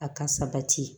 A ka sabati